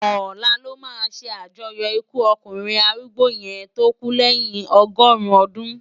Òlá lò má sé ájòyò ikú òkúnrin árúgbó yèn tó kú lèyin ọgọrun òdún